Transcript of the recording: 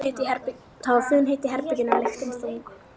Það var funheitt í herberginu og lyktin þung.